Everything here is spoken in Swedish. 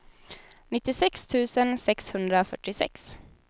nittiosex tusen sexhundrafyrtiosex